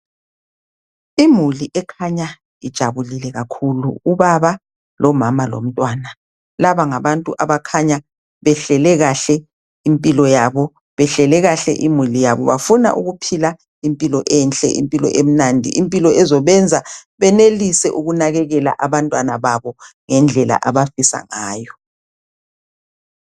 Imuli wkhanya ijabulile kakhulu. Ubaba, umama lomntwana. Laba ngabantu abakhanya behlele kahle impilo yabo. Behlele kahle imuli yabo. Bafuna ukuphila impilo enhle, impilo emnandi, impilo ezobenza banakekele kuhle abantwana babo. Ngendlela abafisa ngayo.